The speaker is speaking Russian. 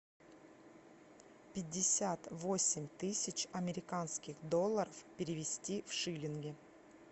пятьдесят восемь тысяч американских долларов перевести в шиллинги